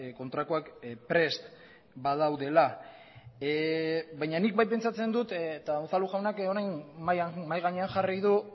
kontrakoak prest badaudela baina nik bai pentsatzen dut eta unzalu jaunak orain mahai gainean jarri du